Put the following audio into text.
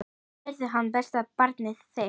Verði hann besta barnið þitt.